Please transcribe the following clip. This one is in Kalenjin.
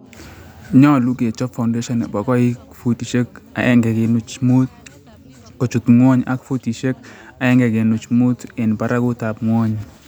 nyolu kechob foundation nebo koik futisiek 1.5 kochut ngwony ak futisiek 1.5 en baragutab nwony.